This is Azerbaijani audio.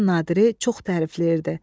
Nadiri çox tərifləyirdi.